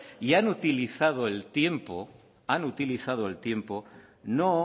y han utilizado el tiempo no